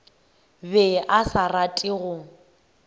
be a sa rate go